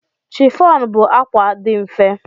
Chiffon bụ akwa dị mfe.